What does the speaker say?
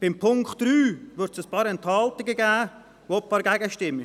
Beim Punkt 3 wird es ein paar Enthaltungen geben und auch ein paar Gegenstimmen.